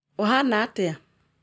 Ũ gana atĩa?